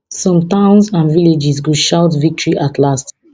some towns and villages go shout victory at last